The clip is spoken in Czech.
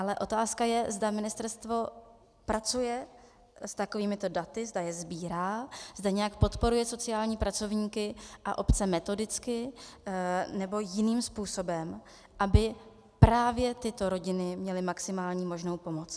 Ale otázka je, zda ministerstvo pracuje s takovými daty, zda je sbírá, zda nějak podporuje sociální pracovníky a obce metodicky nebo jiným způsobem, aby právě tyto rodiny měly maximální možnou pomoc.